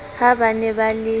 ha ba ne ba le